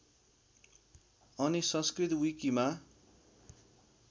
अनि संस्कृत विकिमा